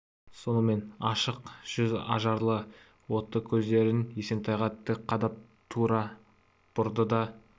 сонымен ашық жүз ажарлы отты көздерін есентайға тік қадап тура бұрды да